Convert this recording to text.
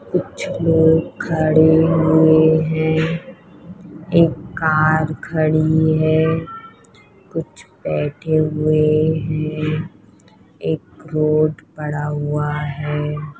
कुछ लोग खड़े हुए हैं। एक कार खड़ी है। कुछ बैठे हुए हैं। एक रोड पड़ा हुआ है।